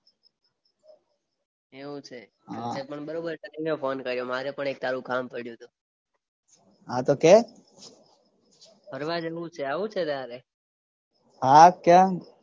એવું છે એટલે પણ બરોબર ટાઈમે ફોન કર્યો મારે પણ તારું એક કામ પડયું તુ હા તો કે ફરવા જવું છે આવું છે તારે હા કેમ